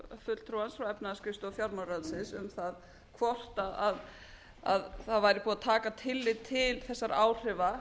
fulltrúans frá efnahagsskrifstofu fjármálaráðuneytinu um það hvort að það væri búið að taka tillit til þessara áhrifa